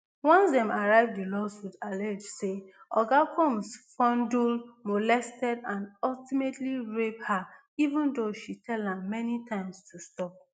once dem arrive di lawsuit allege say oga combs fondled molested and ultimately raped her even though she tell am many times to stop